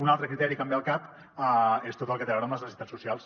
un altre criteri que em ve al cap és tot el que té a veure amb les necessitats socials